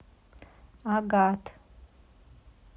агат